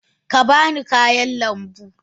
Ka ba ni kayan lambu.